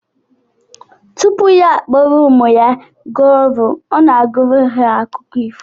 Tupu ya akpọrọ ụmụ ya gaa ọrụ, ọ na-agụrụ ha akụkọ ifo